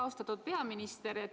Austatud peaminister!